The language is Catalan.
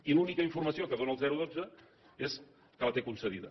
i l’única informació que dóna el dotze és que la té concedida